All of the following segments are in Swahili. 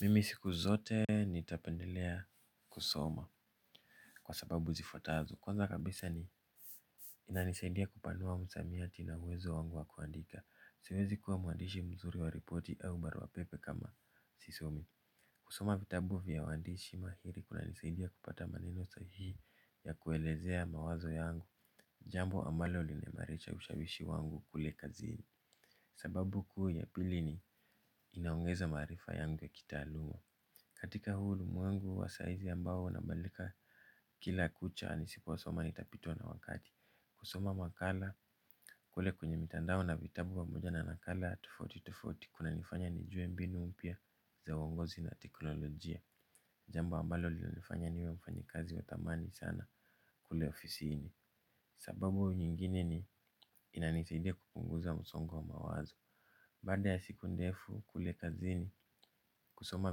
Mimi siku zote nitapendelea kusoma kwa sababu zifwatazo. Kwanza kabisa ni inanisaidia kupanua msamiati na uwezo wangu wa kuandika. Siwezi kuwa muandishi mzuri wa ripoti au barua pepe kama sisomi. Kusoma vitabu vya wandishi mahiri kuna nisaidia kupata maneno sahihi ya kuelezea mawazo yangu. Jambo ambalo limeimarisha ushawishi wangu kule kazini. Sababu kuu ya pili ni inaongeza maarifa yangu ya kitaaluma. Katika huu ulimwengu wa saizi ambao unabadilika kila kucha nisipo soma nitapitwa na wakati. Kusoma makala kule kwenye mitandao na vitabu pamoja na nakala tofauti tofauti kuna nifanya nijue mbinu mpya za uongozi na teknolojia. Jambo ambalo linanifanya niwe mfanyikazi wa thamani sana kule ofisini. Sababu nyingine ni inanisaidia kupunguza msongo wa mawazo. Baada ya siku ndefu kule kazini, kusoma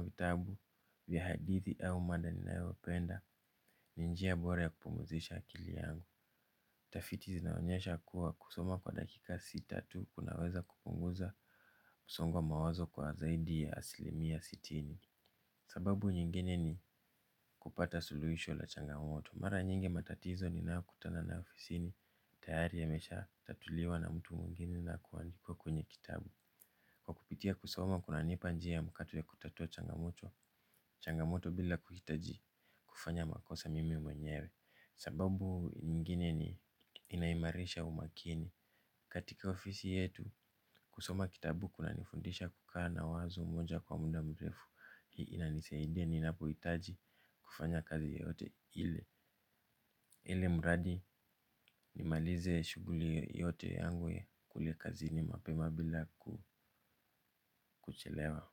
vitabu vya hadithi au mada ninayopenda, ni njia bora ya kupumuzisha akili yangu. Tafiti zinaonyesha kuwa kusoma kwa dakika sita tu kunaweza kupunguza msongo wa mawazo kwa zaidi ya asilimia sitini. Sababu nyingine ni kupata suluhisho la changamoto. Mara nyingi matatizo niyonakutana nayo ofisini, tayari yameshatatuliwa na mtu mwingini na kuandikwa kwenye kitabu. Kwa kupitia kusoma kunanipa njia ya mkato ya kutatua changamoto changamoto bila kuhitaji kufanya makosa mimi mwenyewe. Sababu ingine ni inaimarisha umakini. Katika ofisi yetu kusoma kitabu kuna nifundisha kukaa na wazo moja kwa muda mrefu. Hii inanisidia ninapohitaji kufanya kazi yoyote ile ilimradi nimalize shuguli yote yangu kule kazini mapema bila kuchelewa.